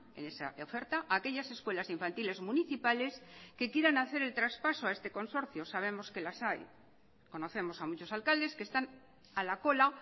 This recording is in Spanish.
en esa oferta aquellas escuelas infantiles municipales que quieran hacer el traspaso a este consorcio sabemos que las hay conocemos a muchos alcaldes que están a la cola